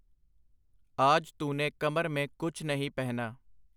ਆਜ ਤੂਨੇ ਕਮਰ ਮੇਂ ਕੁਛ ਨਹੀਂ ਪਹਿਨਾ”.